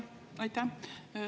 Aitäh!